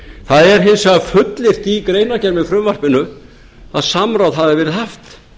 það er hins vegar fullyrt í greinargerð með frumvarpinu að samráð hafi verið haft